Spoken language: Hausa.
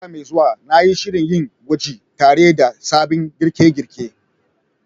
Wata mai zuwa, na yi shirin yin gwaji tare da sabbin girke-girke